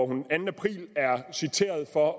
den anden april er citeret for